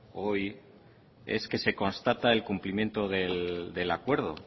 hoy es que se constata el cumplimiento del acuerdo